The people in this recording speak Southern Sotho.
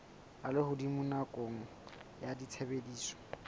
a lehodimo nakong ya tshebediso